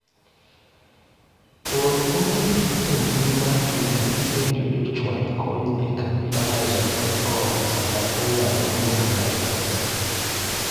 or ote e mbui mar twita kipenjo jochwal kony e kambi amazon dot kom sama inyalo dwokna e pesa